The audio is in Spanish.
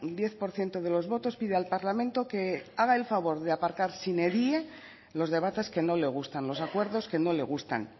diez por ciento de los votos pide al parlamento que haga el favor de aparcar sine die los debates que no le gustan los acuerdos que no le gustan